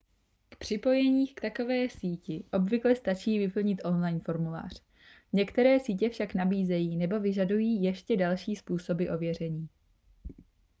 k připojení k takové síti obvykle stačí vyplnit online formulář některé sítě však nabízejí nebo vyžadují ještě další způsoby ověření